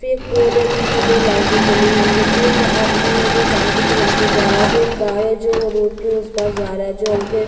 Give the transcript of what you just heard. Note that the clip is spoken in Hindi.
फेक पोल है जिसमे दो लाइटे जली हुई है फेक आदमी है जो साइकिल चला के जा रहा है फेक कार है जो रोड के उस पार जा रहा है जो हल्के--